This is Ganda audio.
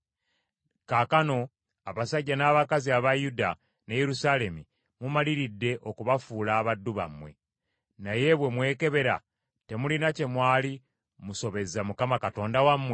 Kaakano, abasajja n’abakazi aba Yuda ne Yerusaalemi mumaliridde, okubafuula abaddu bammwe. Naye bwe mmwekebera, temulina kye mwali musobezza Mukama Katonda wammwe?